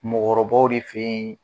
Mɔgɔkɔrɔbaw de fɛ yen